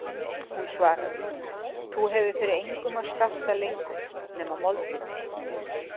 Hún svaraði:-Þú hefur fyrir engum að skarta lengur nema moldinni.